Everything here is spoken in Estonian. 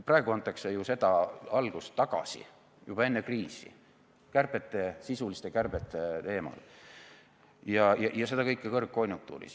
Praegu antakse ju seda algust tagasi, juba enne kriisi sisuliste kärbete teemal ja seda kõike kõrgkonjunktuuris.